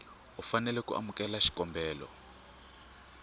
u fanela ku amukela xikombelo